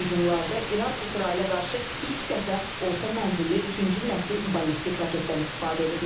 Hücumlarda İran İsrailə qarşı ilk dəfə orta mənzilli üçüncü nəsil ballistik raketdən istifadə edib.